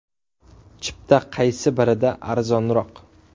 Chipta qaysi birida arzonroq?